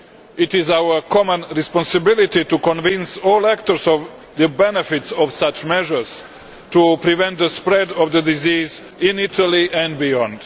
It is our common responsibility to convince all actors of the benefits of such measures to prevent the spread of the disease in Italy and beyond.